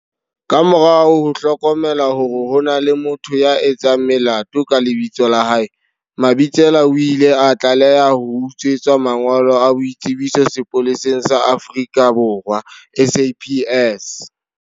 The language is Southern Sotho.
Ka morao ho hlokomela hore ho na le motho ya etsang melato ka lebitso la hae, Mabitsela o ile a tlaleha ho utswetswa mangolo a boitsebiso sepoleseng sa Afrika Borwa, SAPS.